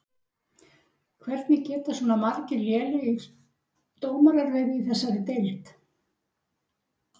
Hvernig geta svona margir lélegir dómarar verið í þessari deild?